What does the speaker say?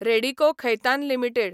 Radico Khaitan limited